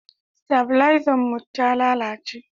stabilezan mu ta lalace